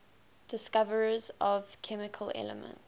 discoverers of chemical elements